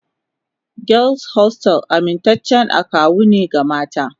Girls hostels amintaccen akawu ne ga mata